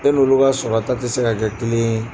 E n'olu ka sɔrɔta tɛ se ka kɛ kelen